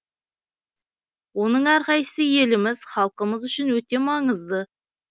оның әр қайсысы еліміз халқымыз үшін өте маңызды